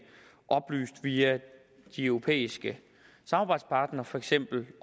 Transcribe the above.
oplyst via de europæiske samarbejdspartnere for eksempel